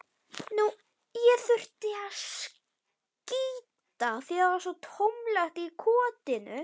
Það verður tómlegt í kotinu þegar